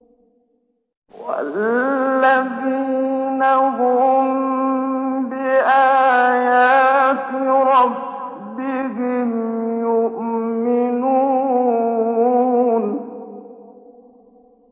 وَالَّذِينَ هُم بِآيَاتِ رَبِّهِمْ يُؤْمِنُونَ